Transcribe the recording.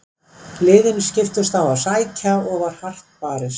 Liðin skiptust á að sækja og var hart barist.